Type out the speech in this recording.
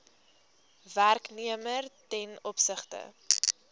werknemer ten opsigte